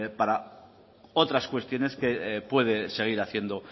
para otras cuestiones que puede seguir haciendo